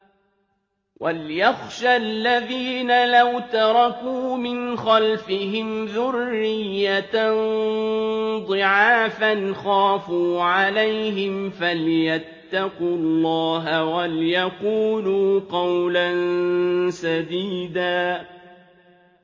وَلْيَخْشَ الَّذِينَ لَوْ تَرَكُوا مِنْ خَلْفِهِمْ ذُرِّيَّةً ضِعَافًا خَافُوا عَلَيْهِمْ فَلْيَتَّقُوا اللَّهَ وَلْيَقُولُوا قَوْلًا سَدِيدًا